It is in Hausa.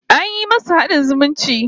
An yi musu haɗin zumunci